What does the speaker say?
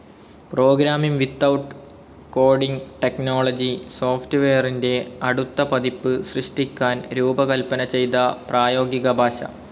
Programming without coding technology സോഫ്റ്റ്വെയറിന്റെ അടുത്ത പതിപ്പ് സൃഷ്ടിക്കാൻ രൂപകൽപ്പന ചെയ്ത പ്രായോഗിക ഭാഷ.